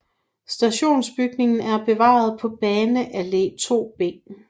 Stationsbygningen er bevaret på Bane Alle 2 B